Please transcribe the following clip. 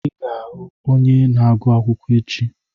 Ị ga-ahụ onye na-agụ akwụkwọ echi!